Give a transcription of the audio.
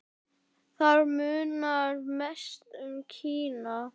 Þar munar mest um Kína.